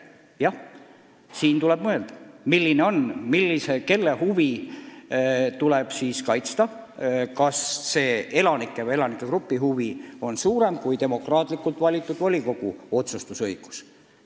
Jah, siin tuleb mõelda, kelle huve tuleb ikkagi kaitsta – kas mingi elanikegrupi huvi kaalub üles demokraatlikult valitud volikogu otsustusõiguse?